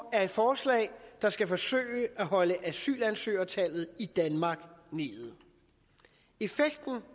er et forslag der skal forsøge at holde asylansøgertallet i danmark nede effekten